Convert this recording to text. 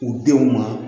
U denw ma